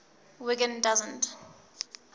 wiggin doesn t